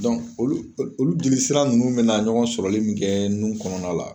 olu jelisira nunnu be na ɲɔgɔn sɔrɔli mun kɛ nun kɔnɔna la